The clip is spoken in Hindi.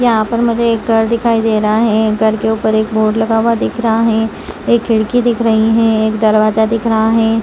यहाँ पर मुझे एक घर दिखाई दे रहा है घर एक ऊपर एक बोर्ड लगा हुआ दिख रहा है एक खिड़की दिख रहा है एक दरवाजा दिख रहा है।